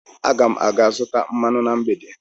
Aga m aga zụta mmanụ na mgbede.